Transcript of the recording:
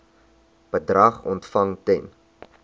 bedrag ontvang ten